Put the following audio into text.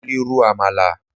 Mo lè ro àmàlà.